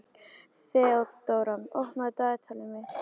Þeódóra, opnaðu dagatalið mitt.